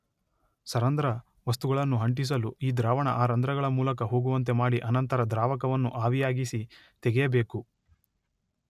ಸರಂಧ್ರ ವಸ್ತುಗಳನ್ನು ಅಂಟಿಸಲು ಈ ದ್ರಾವಣ ಆ ರಂಧ್ರಗಳ ಮೂಲಕ ಹೋಗುವಂತೆ ಮಾಡಿ ಅನಂತರ ದ್ರಾವಕವನ್ನು ಆವಿಯಾಗಿಸಿ ತೆಗೆಯಬೇಕು.